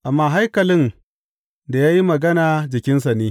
Amma haikalin da ya yi magana jikinsa ne.